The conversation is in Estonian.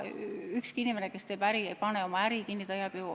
Ükski inimene, kes teeb äri, ei pane oma äri kinni.